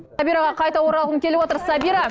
сабираға қайта оралғым келіп отыр сабира